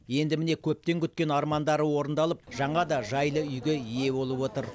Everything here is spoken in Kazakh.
енді міне көптен күткен армандары орындалып жаңа да жайлы үйге ие болып отыр